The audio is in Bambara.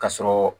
Ka sɔrɔ